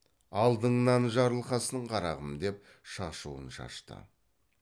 алдыңнан жарылғасын қарағым деп шашуын шашты